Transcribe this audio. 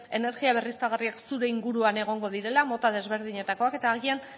energia berriztagarriak zure inguruan egongo direla mota desberdinetakoak eta agian